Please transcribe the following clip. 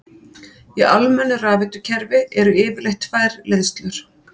Í almennu rafveitukerfi eru yfirleitt tvær leiðslur.